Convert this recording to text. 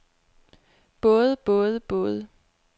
både både både